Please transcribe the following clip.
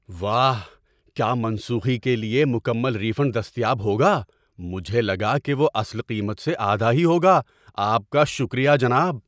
واہ! کیا منسوخی کے لیے مکمل ری فنڈ دستیاب ہوگا؟ مجھے لگا کہ وہ اصل قیمت سے آدھا ہی ہوگا۔ آپ کا شکریہ جناب!